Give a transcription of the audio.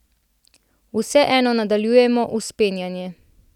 Vseeno nadaljujemo vzpenjanje.